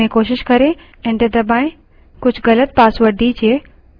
su की अपने रूप में कोशिश करें enter दबायें